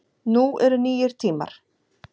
Nú eru nýir tímar